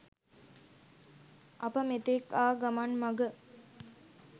අප මෙතෙක් ආ ගමන් මග